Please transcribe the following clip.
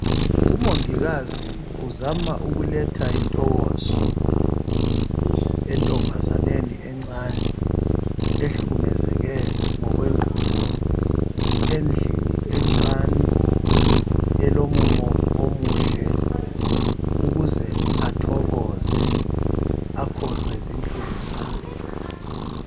Umongikazi uzama ukuletha intokozo entombazaneni encane ehlukumezeke ngokwengqondo endlini encane elomumo omuhle ukuze athokoze akhohlwe izinhlungu zakhe.